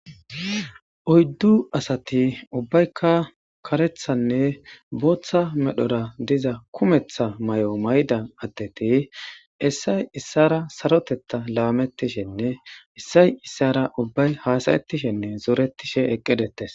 Oyddu asati ubbaykka karethanne booththa medhora diza kumetha may'o maydan addeti issay issara sarotetta laamettishenne issay issara ubbay haasayettishenne zooretishe eqqi detes.